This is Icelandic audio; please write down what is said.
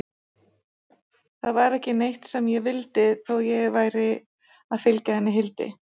Það var ekki neitt sem ég vildi, þó ég væri að fylgja henni Hildi.